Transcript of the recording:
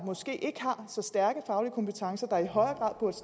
måske ikke har så stærke faglige kompetencer der i højere